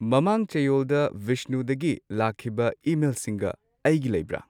ꯃꯃꯥꯡ ꯆꯌꯣꯜꯗ ꯕꯤꯁꯅꯨꯗꯒꯤ ꯂꯥꯛꯈꯤꯕ ꯏꯃꯦꯜꯁꯤꯡꯒ ꯑꯩꯒꯤ ꯂꯩꯕ꯭ꯔꯥ